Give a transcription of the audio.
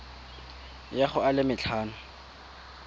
ya go a le matlhano